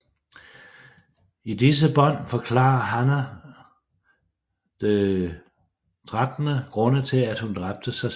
I disse bånd forklarer Hannah de 13 grunde til at hun dræbte sig selv